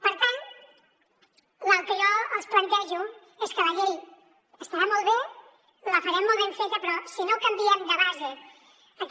per tant el que jo els plantejo és que la llei estarà molt bé la farem molt ben feta però si no canviem de base aquest